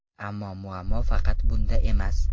Ammo muammo faqat bunda emas.